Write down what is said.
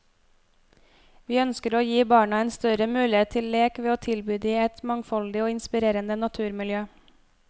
Vi ønsker å gi barna en større mulighet til lek ved å tilby de et mangfoldig og inspirerende naturmiljø.